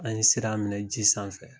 An ye sira minɛ ji sanfɛ.